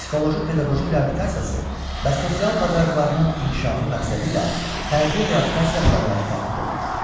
Psixoloji-pedaqoji reabilitasiyası və sosial bacarıqlarının inkişafı məqsədilə fərdi reabilitasiya proqramı tərtib olunur.